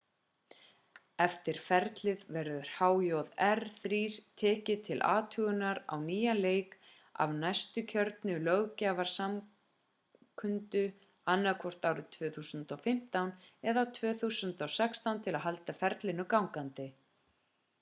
eftir ferlið verður hjr-3 tekið til athugunar á nýjan leik af næstu kjörnu löggjafarsamkundu annaðhvort árið 2015 eða 2016 til að halda ferlinu gangandi